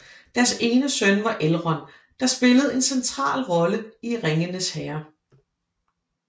Deres ene søn var Elrond der spillede en central rolle i Ringenes Herre